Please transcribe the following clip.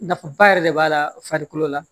Nafaba yɛrɛ de b'a la farikolo la